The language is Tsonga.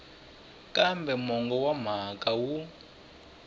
kambe mongo wa mhaka wu